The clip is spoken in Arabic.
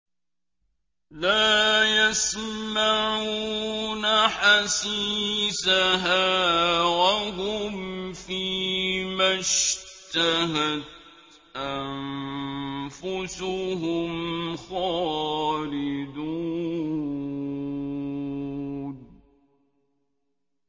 لَا يَسْمَعُونَ حَسِيسَهَا ۖ وَهُمْ فِي مَا اشْتَهَتْ أَنفُسُهُمْ خَالِدُونَ